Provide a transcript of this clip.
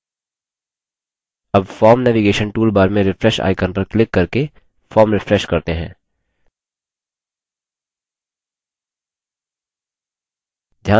अब form navigation toolbar में refresh icon पर क्लिक करके form refresh करते हैं